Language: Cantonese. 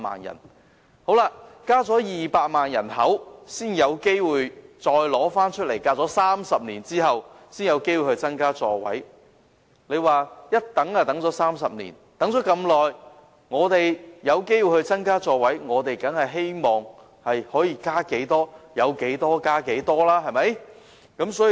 人口增加了200萬，時隔30年才有機會再次增加小巴座位。我們等了30年這麼長的時間才有機會增加座位，當然希望能增加多少便增加多少。